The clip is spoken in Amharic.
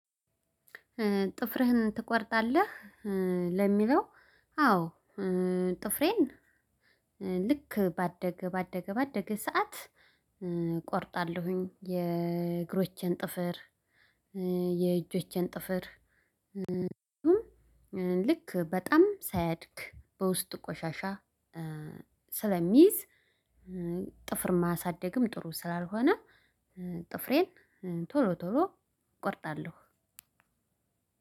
ጥፍርህን ትቆርጣለህ ለሚለው? አዎ ጥፍሬን ልክ ባደገ ባደገ ባደገ ሰዓት እቆርጣለሁኝ የእግሮቼን ጥፍር የእጆቼን ጥፍር ልክ በጣም ሳያድግ በውስጡ ቆሻሻ ስለሚይዝ ጥፍር ማሳደግም ጥሩ ስላልሆነ። ጥፍሬን ቶሎ ቶሎ እቆርጣለሁ።